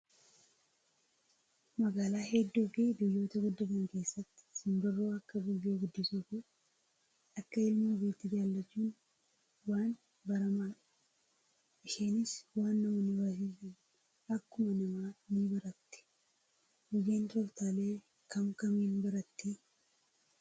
Magaalaa hedduu fi biyyoota guddatan keessatti simbirroo akka gugee guddisuu fi akka ilmoo ofiitti jaallachuun waan baramaadha. Isheenis waan namoonni barsiisan akkuma namaa ni baratti. Gugeen tooftaalee kam kamiin barattii?